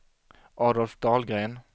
Adolf Dahlgren